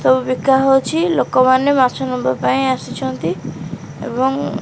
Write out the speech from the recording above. ସବୁ ବିକା ହଉଚି ଲୋକ ମାନେ ମାଛ ନବା ପାଇଁ ଆସିଛନ୍ତି ଏବଂ।